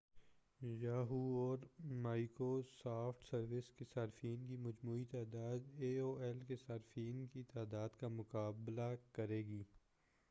Yahoo اور Microsoft service کے صارفین کی مجموعی تعداد اے او ایل کے صارفین کی تعداد کا مقابلہ کرے گی